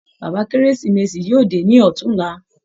Bàbá kérésìmesì yóò dé ní ọ̀túnlá.